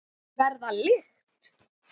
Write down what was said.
Verða lykt.